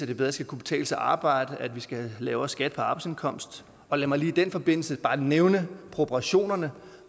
det bedre skal kunne betale sig at arbejde at vi skal have lavere skat på arbejdsindkomst og lad mig lige i den forbindelse bare nævne proportionerne